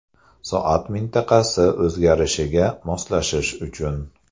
Soat mintaqasi o‘zgarishiga moslashish uchun.